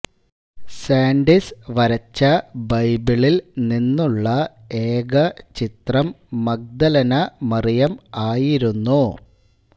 സാൻഡിസ് വരച്ച ബൈബിളിൽ നിന്നുള്ള ഏക ചിത്രം മഗ്ദലനമറിയം ആയിരുന്നു